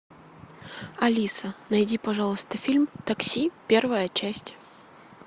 алиса найди пожалуйста фильм такси первая часть